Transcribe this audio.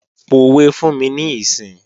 Pòwe fún mi níìsín!